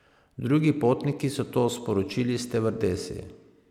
Drugi potniki so to sporočili stevardesi.